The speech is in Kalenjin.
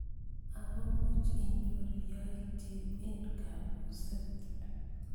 Akomuch inyoru yaityet eng kabuset.